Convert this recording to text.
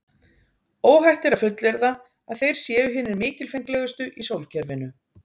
Óhætt er að fullyrða að þeir séu hinir mikilfenglegustu í sólkerfinu.